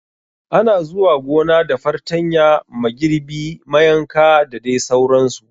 Ana zuwa gona da fartanya, magirbi mayanka da dai sauran su